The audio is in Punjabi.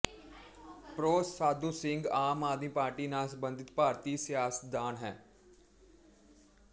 ਪ੍ਰੋ ਸਾਧੂ ਸਿੰਘ ਆਮ ਆਦਮੀ ਪਾਰਟੀ ਨਾਲ ਸੰਬੰਧਿਤ ਭਾਰਤੀ ਸਿਆਸਤਦਾਨ ਹੈ